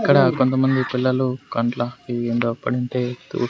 ఇక్కడ కొంతమంది పిల్లలు కంట్ల ఇవి ఏంటో పడింటే తు--